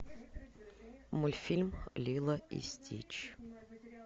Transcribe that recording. мультфильм лило и стич